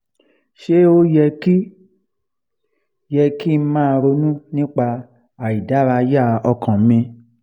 ṣé ó yẹ kí yẹ kí n máa ronu nípa aìdárayá ọkàn mi?